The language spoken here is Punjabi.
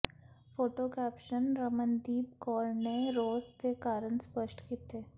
ਫੋਟੋ ਕੈਪਸ਼ਨ ਰਮਨਦੀਪ ਕੌਰ ਨੇ ਰੋਸ ਦੇ ਕਾਰਨ ਸਪਸ਼ਟ ਕੀਤੇ